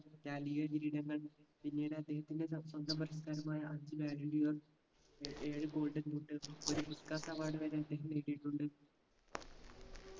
റ്റാലിയൊ കിരീടങ്ങൾ പിന്നീട് അദ്ദേഹത്തിൻറെ ത സ്വന്തം പുരസ്‌കാരമായ ഏർ ഏഴ് golden boot ഒരു പുസ്കാസ് award വരെ അദ്ദേഹം നേടിയിട്ടുണ്ട്